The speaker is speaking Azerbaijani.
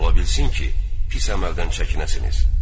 Ola bilsin ki, qisas əməldən çəkinəsiniz.